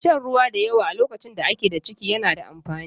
Shan ruwa da yawa a lokacin da ake da ciki na da amfani.